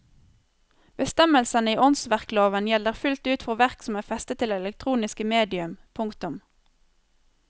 Bestemmelsene i åndsverkloven gjelder fullt ut for verk som er festet til elektroniske medium. punktum